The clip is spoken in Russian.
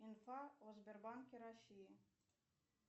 инфа о сбербанке россии